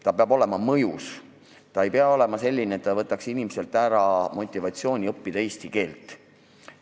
Määr peab olema mõjus, ta ei pea olema selline, et ta võtab inimeselt ära motivatsiooni eesti keelt õppida.